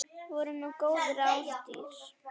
Voru nú góð ráð dýr.